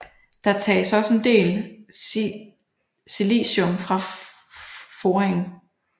Der tages også en del silicium fra foringen